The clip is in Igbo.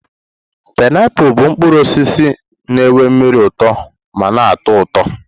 painiapulu bụ mkpụrụ osisi na nwe mmiri uto ma na-atọ ụtọ.